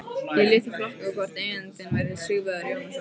Ég lét því flakka hvort eigandinn væri Sigvarður Jónasson.